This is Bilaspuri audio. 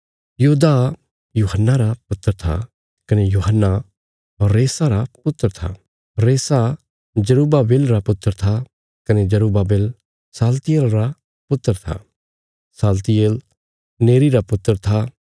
योदाह यूहन्ना रा पुत्र था कने यूहन्ना रेसा रा पुत्र था रेसा जरुब्बाबिल रा पुत्र था कने जरुब्बाबिल शालतियेल रा पुत्र था शालतियेल नेरी रा पुत्र था